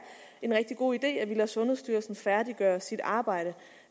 en rigtig god idé at vi lader sundhedsstyrelsen færdiggøre sit arbejde